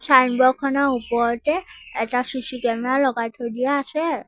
ছাইনবোৰ্ডখনৰ ওপৰতে এটা C C camera লগাই থৈ দিয়া আছে।